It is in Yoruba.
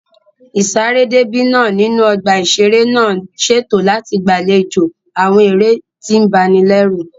Ìsaré déébì náà nínú ọgbà ìṣeré náà ń ṣètò láti gbàlejò àwọn eré tí ń ba ni lẹ́rù